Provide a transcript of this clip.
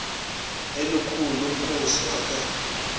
elikhulu lomkhosi wakhe